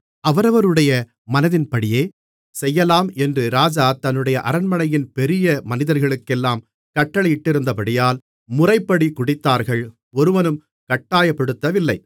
அவரவருடைய மனதின்படியே செய்யலாம் என்று ராஜா தன்னுடைய அரண்மனையின் பெரிய மனிதர்களுக்கெல்லாம் கட்டளையிட்டிருந்தபடியால் முறைப்படி குடித்தார்கள் ஒருவனும் கட்டாயப்படுத்தவில்லை